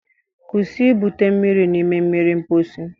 Kwụsị ibute mmiri n'ime mmiri mposi